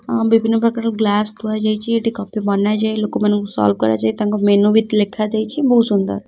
ହଁ ବିଭିନ୍ନ ପ୍ରକାର ଗ୍ଲାସ୍ ଥୁଆ ଯାଇଚି ଏଠି କଫି ବନା ଯାଇ ଲୋକମାନଙ୍କୁ ସର୍ଫ କରାଯାଏ ତାଙ୍କ ମେନୁ ବି ତ ଲେଖା ଯାଇଚି ବହୁତ ସୁନ୍ଦର।